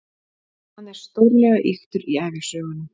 Hann er stórlega ýktur í ævisögunum.